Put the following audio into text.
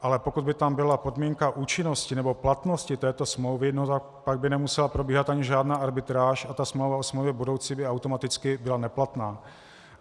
Ale pokud by tam byla podmínka účinnosti nebo platnosti této smlouvy, no tak pak by nemusela probíhat ani žádná arbitráž a ta smlouva o smlouvě budoucí by automaticky byla neplatná.